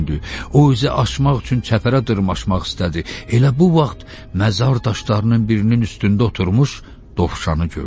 O, üzü açmaq üçün çəpərə dırmaşmaq istədi, elə bu vaxt məzar daşlarının birinin üstündə oturmuş dovşanı gördü.